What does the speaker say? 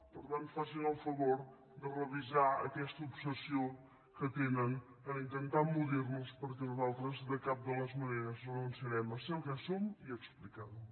per tant facin el favor de revisar aquesta obsessió que tenen a intentar emmudir nos perquè nosaltres de cap de les maneres renunciarem a ser el que som i a explicar ho